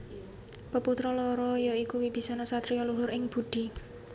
Peputra loro ya iku Wibisana satriya luhur ing budi